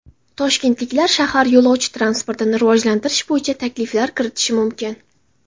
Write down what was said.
Toshkentliklar shahar yo‘lovchi transportini rivojlantirish bo‘yicha takliflar kiritishi mumkin.